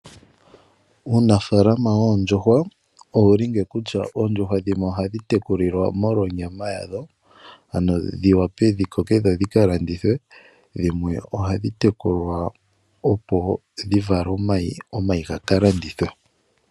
Uunafaalama woondjuhwa owuli ngeyi kutya oondjuhwa dhimwe ohadhi tekulilwa molwa onyama yadho. Ano dhi vule dhi koke dho dhika landithwe. Dhimwe oha dhi tekulwa opo dhi vale omayi, omayi gaka landithwe.